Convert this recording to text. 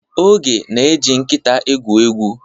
Oge na-eji nkịta egwu egwu.